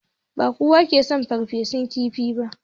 Ba kowa ne yake son farfesun kifi ba.